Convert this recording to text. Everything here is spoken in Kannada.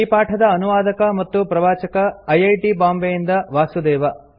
ಈ ಪಾಠದ ಅನುವಾದಕ ಮತ್ತು ಪ್ರವಾಚಕ ಐ ಐ ಟಿ ಬಾಂಬೆಯಿಂದ ವಾಸುದೇವ